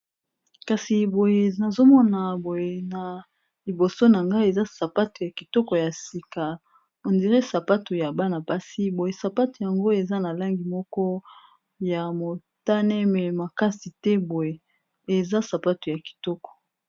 Kasi boye, nazo mona boye na liboso na ngai ; eza sapatu ya kitoko ya sika. On dirait sapatu ya bana basi boye. Sapato yango, eza na langi moko ya motane, me makasi te boye, eza sapatu ya kitoko.